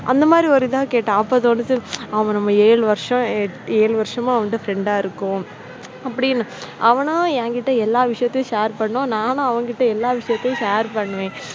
அந்த மாதிரி ஒரு இதா கேட்டா அப்போ தோணிச்சு அவ நம்ம ஏழு வருஷம் ஏழு வருஷமா அவன்ட நம்ம friend அ இருக்கோம் அப்படின்னு அவனா என்கிட்ட எல்லா விஷயத்தையும் share பண்ணுவான், நானும் அவனிடம் எல்லா விஷயத்தையும் share பண்ணுவேன்.